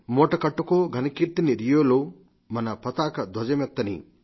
మూటకట్టుకో ఘనకీర్తిని రియోలో మన పతాక ధ్వజమెత్తనీ